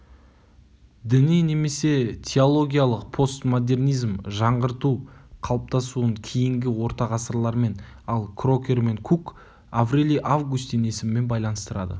діни немесе теологиялық постмодернизм жаңғырту қалыптасуын кейінгі орта ғасырлармен ал крокер мен кук аврелий августин есімімен байланыстырады